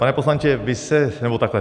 Pane poslanče, vy se... nebo takhle.